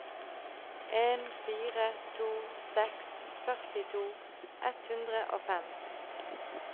en fire to seks førtito ett hundre og fem